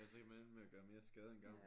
Ja så kan man ende med at gøre mere skade end gavn